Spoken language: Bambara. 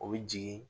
O bɛ jigin